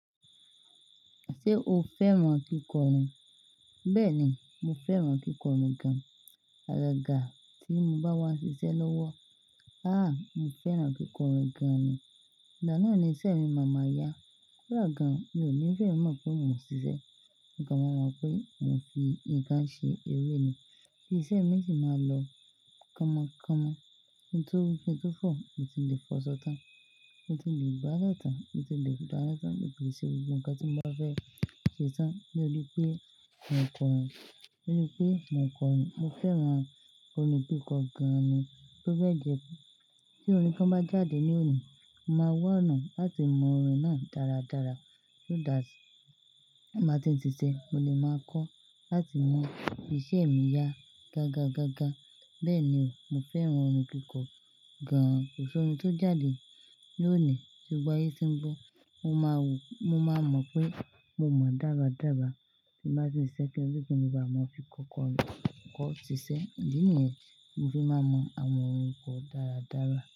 Ṣé o fẹ́ràn kíkọ́ orin? Bẹ́ẹ̀ni, mo fẹ́ràn kíkọ́ orin gan-an. Alàga tí mo bá wá ṣiṣẹ́ lọ́wọ́. Aà! Mo fẹ́ràn kíkọ́ orin gan-an ni. Ìgbáná ni iṣẹ́ mi máa máa yá. Kọ́ da gan, mi ò ní fẹ́ mọ̀ pé mo ń ṣiṣẹ́. Níkan máa mọ̀ pé mo fi ìkàn ṣe eré ni. Bí iṣẹ́ mi ṣe máa lọ kánmọkánmọ. Ohun tó, ohun tó fọ, mo tí lè fọ sọ́tà. Mo ti lè gbá gbale tan. Mo ti lè dá sọ́tàn. Mo lè ṣe ohun kan tí mo bá fẹ́ ṣe tán. Ni ó di pé mò ń kọ orin. Ni pé mò ń kọ orin. Mo fẹ́ràn òrín kíkọ gan-an ni. Tó bẹ́ẹ̀ gẹ́, tí orin kan bá jáde ní òní, mo máa wà anà láti mọ orin náà dáradára. So that bí mo bá ti ń ṣiṣẹ́, mo lè máa kọ́ láti mu iṣẹ́ mi yá gágagágá. Bẹ́ẹ̀ ni o, mo fẹ́ràn orin kíkọ gan-an. Ko si orin tó jáde ní òní, tí gbogbo ẹyí ti ń gbọ́, mo máa wò ó. Mo máa mọ̀ pé mo mọ̀ dáradára. Bí mo bá ti ń ṣiṣẹ́, kí nle ibà máa fi kọ orin kọ ṣiṣẹ́. Èyí ni ẹ ti, mo fi máa mọ àwọn orin kọ dáradára.